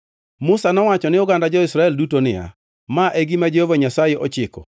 Musa nowacho ni oganda jo-Israel duto niya, “Ma e gima Jehova Nyasaye ochiko: